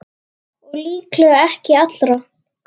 Og líklega ekki allra.